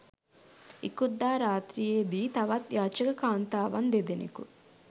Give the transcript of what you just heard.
ඉකුත් දා රාත්‍රියේදී තවත් යාචක කාන්තාවන් දෙදෙනකු